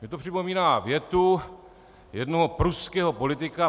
Mně to připomíná větu jednoho pruského politika.